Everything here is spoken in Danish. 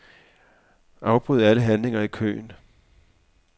Afbryd alle handlinger i køen.